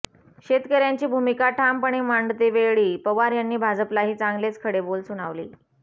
शेतकऱ्यांची भूमिका ठामपणे मांडतेवेळी पवार यांनी भाजपलाही चांगलेच खडेबोल सुनावले